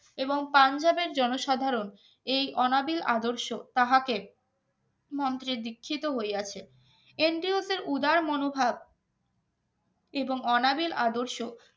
এবং পাঞ্জাবের জনসাধারণ এই অনাবিল আদর্শ তাহাকে মন্ত্রের দীক্ষিত হইয়াছে NDO তে উদার মনোভাব এবং অনাবিল আদর্শ